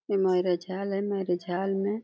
Marriage hall है। Marriage hall --